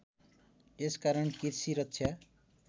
यस कारण कृषि रक्षा